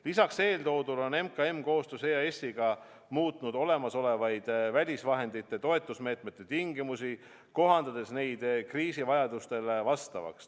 Lisaks eeltoodule on MKM koostöös EAS-iga muutnud olemasolevaid välisvahendite abil toetusmeetmete tingimusi, kohandades neid kriisi vajadustele vastavaks.